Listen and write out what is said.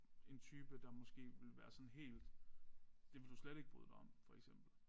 En type der måske ville være sådan helt det vil du slet ikke bryde dig om for eksempel